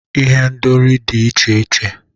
Ihendori dị iche iche